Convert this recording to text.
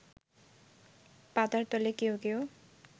পাতার তলে কেউ কেউ